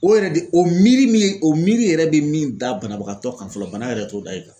O yɛrɛ de o miiri min o miiri yɛrɛ bɛ min da banabagatɔ kan fɔlɔ bana yɛrɛ t'o da i kan